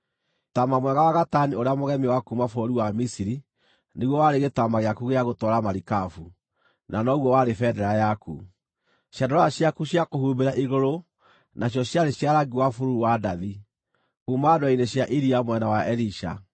Taama mwega wa gatani ũrĩa mũgemie wa kuuma bũrũri wa Misiri nĩguo warĩ gĩtama gĩaku gĩa gũtwara marikabu, na noguo warĩ bendera yaku; ciandarũa ciaku cia kũhumbĩra igũrũ na cio ciarĩ cia rangi wa bururu na wa ndathi, kuuma ndwere-inĩ cia iria mwena wa Elisha.